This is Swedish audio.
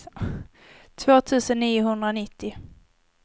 två tusen niohundranittio